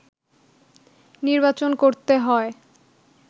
নির্বাচন করতে হয়